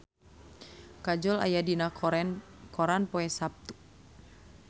Kajol aya dina koran poe Saptu